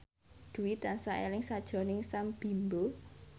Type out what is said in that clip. Dwi tansah eling sakjroning Sam Bimbo